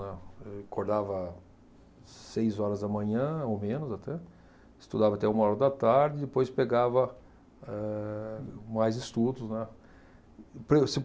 Acordava seis horas da manhã ou menos até, estudava até uma hora da tarde, depois pegava eh mais estudos, né. Então